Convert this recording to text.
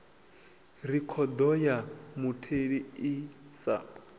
rekhodo ya mutheli i sa